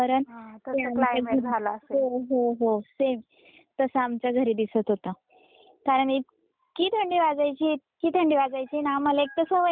हो, हो, हो सेम तस आमच्या घरी दिसत होत कारण इतकी थंडी वाजायची इतकी थंडी वाजायची आणि आम्हाला एक तर सवय नाही इथ राहिल्यामुळे गावाला.